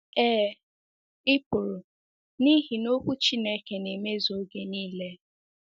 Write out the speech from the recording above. Ee, i pụrụ n’ihi na Okwu Chineke na-emezu oge nile.